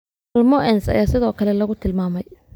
malmoense ayaa sidoo kale lagu tilmaamay.